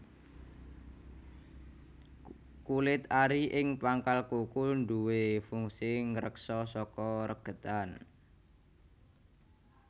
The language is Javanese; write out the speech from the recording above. Kulit ari ing pangkal kuku duwé fungsi ngreksa saka regetan